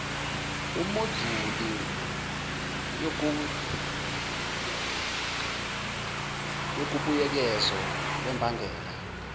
imoduli yobuyekezo lwembangela